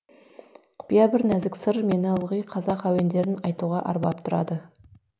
құпия бір нәзік сыр мені ылғи қазақ әуендерін айтуға арбап тұрады